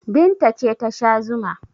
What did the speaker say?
Binta ce ta sha zuma.